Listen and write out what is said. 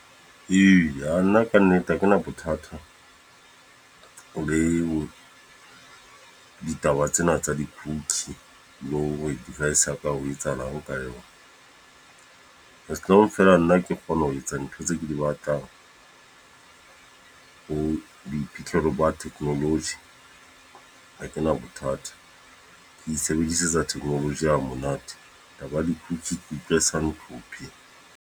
Eya, nna ka nnete ha kena bothata o le ditaba tsena tsa di-cookie, lo hore device ya ka ho etsahalang ho ka yona. As long feela nna ke kgone ho etsa ntho tse ke di batlang. Ho boiphihlelo ba technology, ha kena bothata. Ke isebedisetsa technology hamonate. Taba ya di-cookie ke utlwa e sa nhlophe.